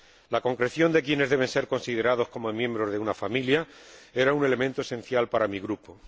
La concreción de quiénes deben ser considerados como miembros de una familia era un elemento esencial para mi Grupo.